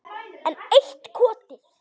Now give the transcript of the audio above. Enn eitt kotið.